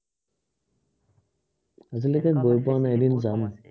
আজিলৈকে গৈ পোৱা নাই, এদিন যাম